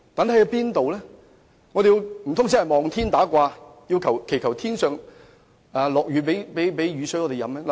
難道我們真的要"望天打卦"，祈求上天賜雨水給我們飲用？